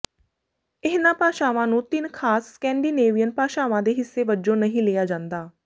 ਇਹਨਾਂ ਭਾਸ਼ਾਵਾਂ ਨੂੰ ਤਿੰਨ ਖਾਸ ਸਕੈਂਡੀਨੇਵੀਅਨ ਭਾਸ਼ਾਵਾਂ ਦੇ ਹਿੱਸੇ ਵਜੋਂ ਨਹੀਂ ਲਿਆ ਜਾਂਦਾ